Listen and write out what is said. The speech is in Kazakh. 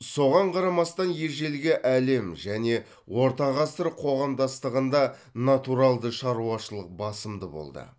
соған қарамастан ежелгі әлем және орта ғасыр қоғамдастығында натуралды шаруашылық басымды болды